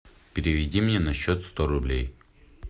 переведи мне на счет сто рублей